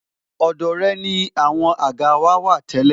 Ọ̀dọ̀ rẹ ni àwọn àga wà tẹ́lẹ̀